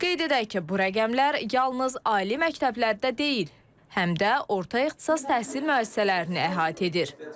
Qeyd edək ki, bu rəqəmlər yalnız ali məktəblərdə deyil, həm də orta ixtisas təhsil müəssisələrini əhatə edir.